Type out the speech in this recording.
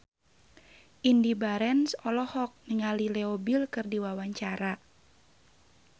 Indy Barens olohok ningali Leo Bill keur diwawancara